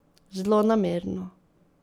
Zlonamerno.